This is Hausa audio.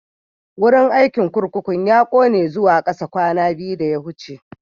Wurin aikin kurkukun ya ƙone zuwa kasa kwana biyu da ya wuce.